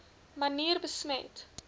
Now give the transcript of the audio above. manier besmet